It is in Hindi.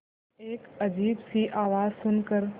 एक अजीब सी आवाज़ सुन कर